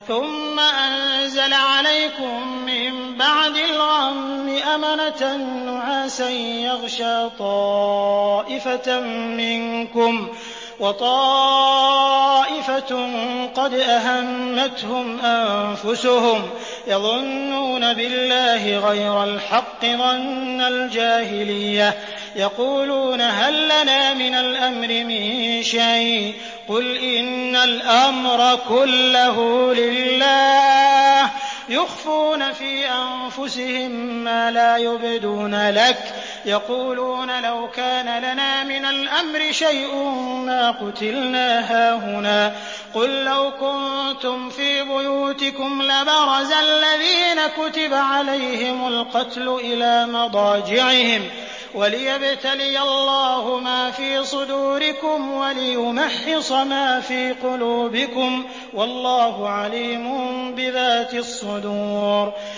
ثُمَّ أَنزَلَ عَلَيْكُم مِّن بَعْدِ الْغَمِّ أَمَنَةً نُّعَاسًا يَغْشَىٰ طَائِفَةً مِّنكُمْ ۖ وَطَائِفَةٌ قَدْ أَهَمَّتْهُمْ أَنفُسُهُمْ يَظُنُّونَ بِاللَّهِ غَيْرَ الْحَقِّ ظَنَّ الْجَاهِلِيَّةِ ۖ يَقُولُونَ هَل لَّنَا مِنَ الْأَمْرِ مِن شَيْءٍ ۗ قُلْ إِنَّ الْأَمْرَ كُلَّهُ لِلَّهِ ۗ يُخْفُونَ فِي أَنفُسِهِم مَّا لَا يُبْدُونَ لَكَ ۖ يَقُولُونَ لَوْ كَانَ لَنَا مِنَ الْأَمْرِ شَيْءٌ مَّا قُتِلْنَا هَاهُنَا ۗ قُل لَّوْ كُنتُمْ فِي بُيُوتِكُمْ لَبَرَزَ الَّذِينَ كُتِبَ عَلَيْهِمُ الْقَتْلُ إِلَىٰ مَضَاجِعِهِمْ ۖ وَلِيَبْتَلِيَ اللَّهُ مَا فِي صُدُورِكُمْ وَلِيُمَحِّصَ مَا فِي قُلُوبِكُمْ ۗ وَاللَّهُ عَلِيمٌ بِذَاتِ الصُّدُورِ